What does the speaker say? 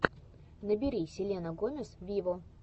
набери селена гомес виво